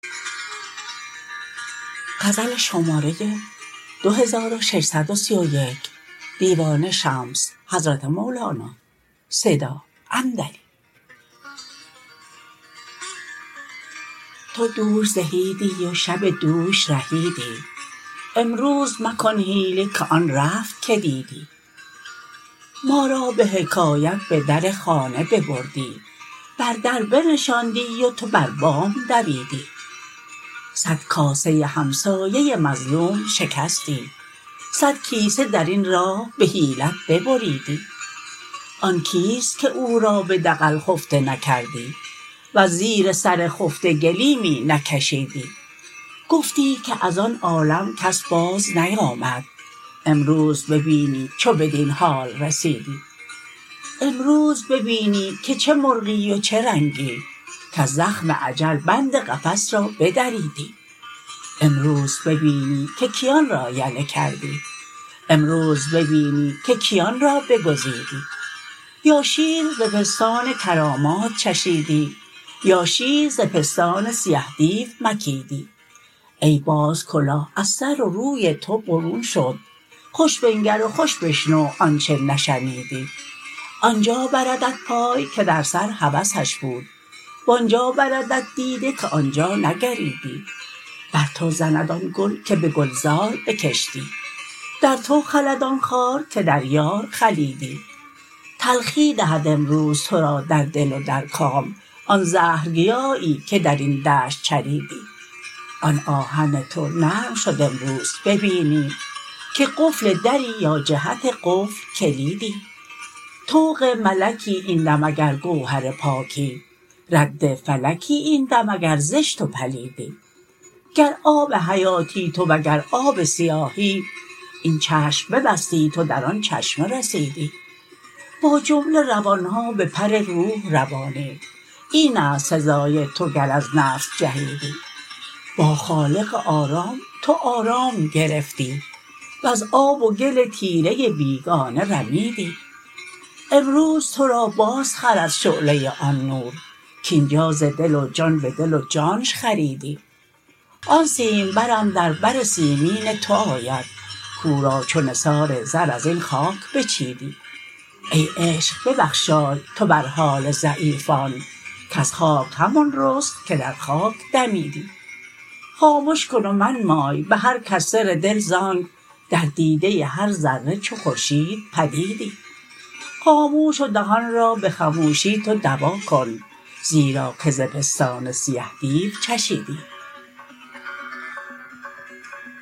تو دوش رهیدی و شب دوش رهیدی امروز مکن حیله که آن رفت که دیدی ما را به حکایت به در خانه ببردی بر در بنشاندی و تو بر بام دویدی صد کاسه همسایه مظلوم شکستی صد کیسه در این راه به حیلت ببریدی آن کیست که او را به دغل خفته نکردی وز زیر سر خفته گلیمی نکشیدی گفتی که از آن عالم کس بازنیامد امروز ببینی چو بدین حال رسیدی امروز ببینی که چه مرغی و چه رنگی کز زخم اجل بند قفس را بدریدی امروز ببینی که کیان را یله کردی امروز ببینی که کیان را بگزیدی یا شیر ز پستان کرامات چشیدی یا شیر ز پستان سیه دیو مکیدی ای باز کلاه از سر و روی تو برون شد خوش بنگر و خوش بشنو آنچ نشنیدی آن جا بردت پای که در سر هوسش بود و آن جا بردت دیده که آن جا نگریدی بر تو زند آن گل که به گلزار بکشتی در تو خلد آن خار که در یار خلیدی تلخی دهد امروز تو را در دل و در کام آن زهرگیایی که در این دشت چریدی آن آهن تو نرم شد امروز ببینی که قفل دری یا جهت قفل کلیدی طوق ملکی این دم اگر گوهر پاکی رد فلکی این دم اگر زشت و پلیدی گر آب حیاتی تو و گر آب سیاهی این چشم ببستی تو در آن چشمه رسیدی با جمله روان ها بپر روح روانی این است سزای تو گر از نفس جهیدی با خالق آرام تو آرام گرفتی وز آب و گل تیره بیگانه رمیدی امروز تو را بازخرد شعله آن نور کاین جا ز دل و جان به دل و جانش خریدی آن سیمبر اندر بر سیمین تو آید کو را چو نثار زر از این خاک بچیدی ای عشق ببخشای تو بر حال ضعیفان کز خاک همان رست که در خاک دمیدی خامش کن و منمای به هر کس سر دل ز آنک در دیده هر ذره چو خورشید پدیدی خاموش و دهان را به خموشی تو دوا کن زیرا که ز پستان سیه دیو چشیدی